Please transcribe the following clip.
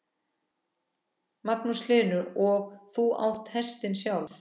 Magnús Hlynur: Og þú átt hestinn sjálf?